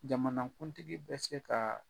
Jamanakuntigi bɛ se ka